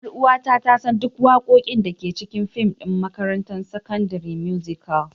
Ƴar'uwata ta san duk waƙoƙin da ke cikin fim ɗin: Makarantar Sakandare Musical.